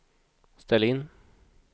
ställ in